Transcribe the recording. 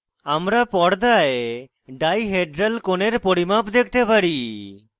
আমরা পর্দায় ডাইহেড্রাল কোণের পরিমাপ দেখতে পারি